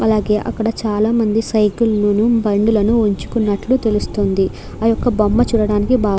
అలాగే అక్కడ చాలా మంది సైకిల్ లను బండులను ఉంచుకున్నట్టు తెలుస్తుంది. ఆ యొక్క బొమ్మ చూడడానికి బా --